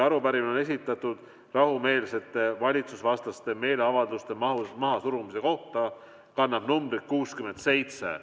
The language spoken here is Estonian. Arupärimine on esitatud rahumeelsete valitsusvastaste meeleavalduste mahasurumise kohta ja kannab numbrit 67.